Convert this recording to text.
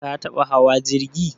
Ka taɓa hawa jirgi?